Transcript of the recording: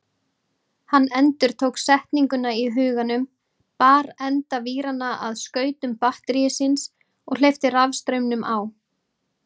Hann endurtók setninguna í huganum, bar enda víranna að skautum batterísins og hleypti rafstraumnum á.